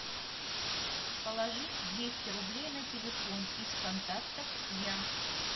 положить двести рублей на телефон из контактов я